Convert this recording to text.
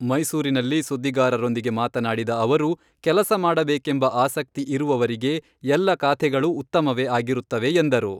ಮೈಸೂರಿನಲ್ಲಿ ಸುದ್ದಿಗಾರರೊಂದಿಗೆ ಮಾತನಾಡಿದ ಅವರು, ಕೆಲಸ ಮಾಡಬೇಕೆಂಬ ಆಸಕ್ತಿ ಇರುವವರಿಗೆ ಎಲ್ಲ ಖಾತೆಗಳೂ ಉತ್ತಮವೇ ಆಗಿರುತ್ತವೆ ಎಂದರು.